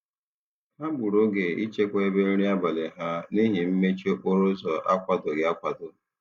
Ha gburu oge ịchekwa ebe nri abalị ha n'ihi mmechi okporoụzọ akwadoghị akwado.